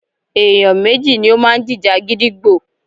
Èèyàn méjì ni ó máa ń jìjà gídígbò.